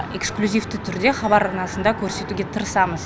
эксклюзивті түрде хабар арнасында көрсетуге тырысамыз